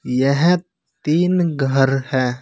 यह तीन घर है।